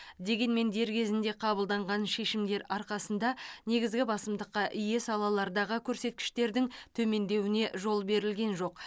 дегенмен дер кезінде қабылданған шешімдер арқасында негізгі басымдыққа ие салалардағы көрсеткіштердің төмендеуіне жол берілген жоқ